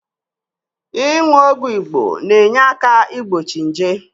Inu ogwu Igbo na-enyeaka igbochi nje